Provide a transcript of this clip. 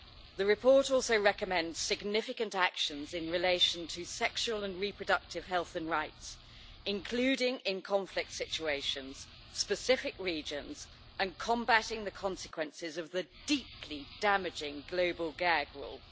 The report also recommends significant actions in relation to sexual and reproductive health and rights, including in conflict situations, specific regions and combating the consequences of the deeply damaging global gag rule.